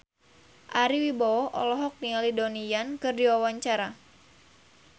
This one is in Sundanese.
Ari Wibowo olohok ningali Donnie Yan keur diwawancara